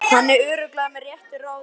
Er hann örugglega með réttu ráði?